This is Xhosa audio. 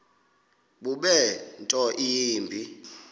bube nto yimbi